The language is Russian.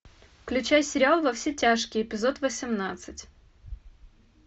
включай сериал во все тяжкие эпизод восемнадцать